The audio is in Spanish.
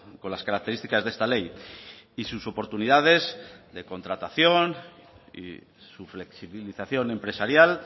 con las características de esta ley y sus oportunidades de contratación y su flexibilización empresarial